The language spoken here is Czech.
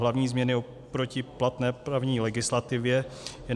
Hlavní změny oproti platné právní legislativě je...